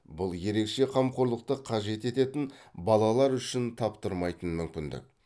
бұл ерекше қамқорлықты қажет ететін балалар үшін таптырмайтын мүмкіндік